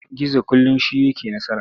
Gizo kullum shi yake nasara.